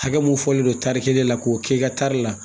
Hakɛ mun fɔlen don tari kelen la k'o kɛ i ka tari la